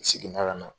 N seginna ka na